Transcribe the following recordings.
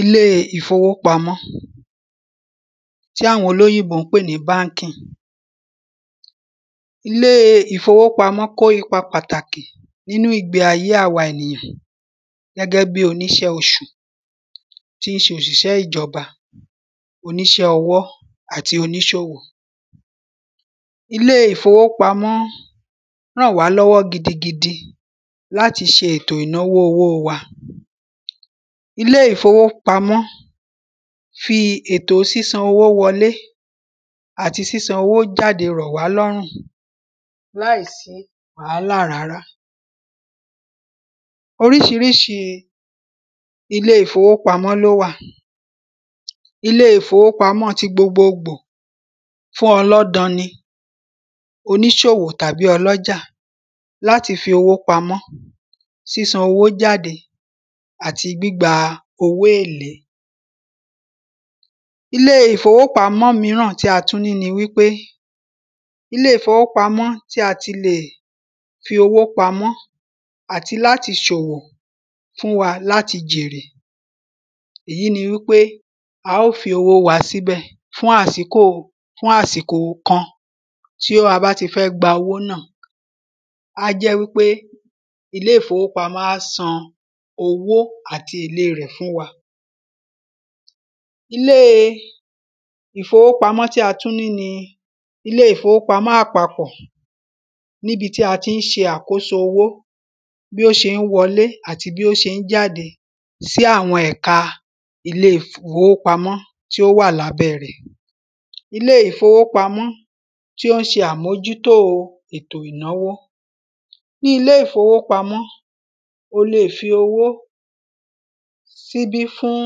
Ilé ìfowópamọ́ Tí àwọn olóyìnbó ń pè ní banking Ilé ìfowópamọ́ kó ipa pàtàkì nínú ìgbé ayé awa ènìyàn gẹ́gẹ́ bíi oníṣẹ́ oṣù tí ń ṣe òṣìṣẹ́ ìjọba oníṣẹ́ ọwọ́ àti oníṣòwò Ilé ìfowópamọ́ rànwálọ́wọ́ gidigidi láti ṣe ètò ìnánwó owó wa Ilé ìfowópamọ́ fi ètò sísan owó wọlé àti sísan owó jáde rọ̀wálọ́rùn láìsí wàhálà rárá Oríṣiríṣi ile ìfowópamọ́ ni ó wà Ile ìfowópamọ́ ti gbogbóògbò fún ọlọ́dan ni oníṣòwò tàbí ọlọ́jà láti fi owó pamọ́ sísan owó jáde àti gbígba owó èlé Ilé ìfowópamọ́ mìíràn tí a tún ní wípé Ilé ìfowópamọ́ tí a ti lè fi owó pamọ́ àti láti ṣòwò fún wa láti jèrè Ìyí ni wípé a óò fi owó wa síbẹ̀ fún àsìkò fún àsìkò kan tí a bá tí fẹ́ gba owó náà A á jẹ́ wípé ilé ìfowópamọ́ á san owó àti ìlé rẹ̀ fún wa Ilé ìfowópamọ́ tí a tún ní ni ilé ìfowópamọ́ àpapọ̀ Ní ibi tí a tí ń ṣe àkóso owó bi ó ṣe ń wọlé àti bí ó ṣe ń jáde sí àwọn ẹ̀ka ilé ìfowópamọ́ tí ó wà lábẹ́ rẹ̀ Ilé ìfowópamọ́ tí ó ń ṣe àmójútó ètò ìnánwó Ní ilé ìfowópamọ́ o lè fi owó śi ibí fún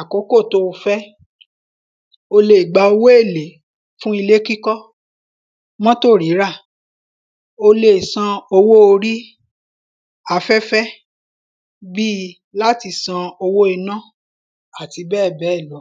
akókò tí o fẹ́ O lè gba owó èlé fún ilé kíkọ́ mọ́tò rírà O lè san owó orí àfẹ́fẹ́ bíi láti san owó iná àti bẹ́ẹ̀bẹ́ẹ̀ lọ